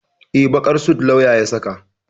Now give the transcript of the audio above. Eh, baƙar sut lauyan ya saka.